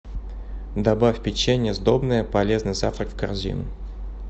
добавь печенье сдобное полезный завтрак в корзину